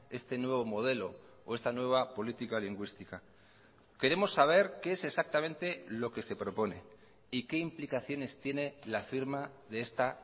este nuevo modelo o esta nueva política lingüística queremos saber qué es exactamente lo que se propone y qué implicaciones tiene la firma de esta